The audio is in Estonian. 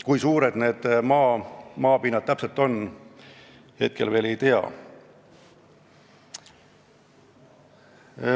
Kui suured need maa-alad täpselt on, seda praegu veel ei tea.